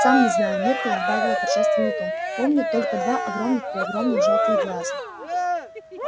сам не знаю миртл сбавила торжественный тон помню только два огромных-преогромных жёлтых глаза